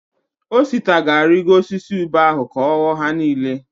Osita ga-arịgo osisi ube ahụ ka ọ ghọọ ha niile.